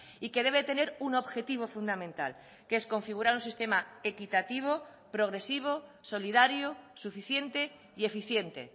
y que debe tener un objetivo fundamental que es configurar un sistema equitativo progresivo solidario suficiente y eficiente